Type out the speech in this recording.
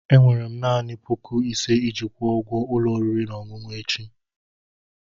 Enwere m naanị puku ise iji kwụọ ụgwọ ụlọ oriri na ọṅụṅụ echi.